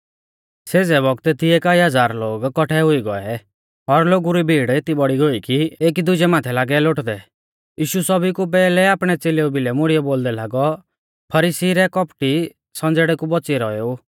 सेज़ै बौगतै तिऐ कई हज़ार लोग कौठै हुई गौऐ और लोगु री भीड़ एती बौड़ी गोई कि एकी दुजै माथै लागै लोटदै यीशु सौभी कु पैहलै आपणै च़ेलेऊ भिलै मुड़ीयौ बोलदै लागौ फरीसी रै कौपटी संज़ेड़ै कु बौच़ियौ रौएऊ